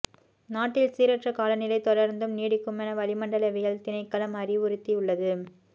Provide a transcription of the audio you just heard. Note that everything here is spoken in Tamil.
நாட்டில் சீரற்ற காலநிலை தொடர்ந்தும் நீடிக்குமென வளிமண்டலவியல் திணைக்களம் அறிவுறுத்தியுள்ளது